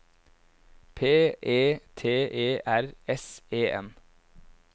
P E T E R S E N